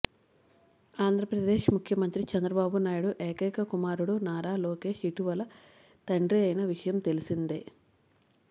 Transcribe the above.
ఆంధ్రప్రదేశ్ ముఖ్యమంత్రి చంద్రబాబు నాయుడు ఏకైక కుమారుడు నారా లోకేష్ ఇటీవలే తండ్రి అయిన విషయం తెల్సిందే